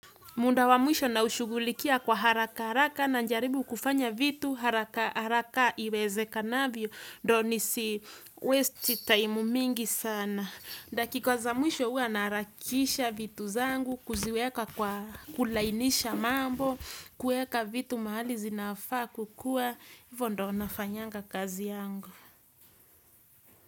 Munda wa mwisho na ushughulikia kwa haraka haraka na jaribu kufanya vitu haraka haraka iwezekanavyo. Ndo nisi westi taimu mingi sana. Dakika za mwisho huwa naharakisha vitu zangu kuziweka kwa, kulainisha mambo, kueka vitu mahali zinafaa kukua, ivo ndo nafanyanga kazi yangu.